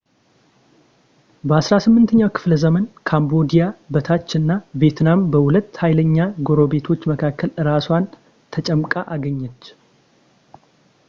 በ18ኛው ክፍለ ዘመን ካምቦዲያ በታይ እና ቬትናም በሁለት ኃይለኛ ጎረቤቶች መካከል አራሷን ተጨምቃ አገኘች